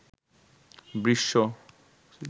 বৃষ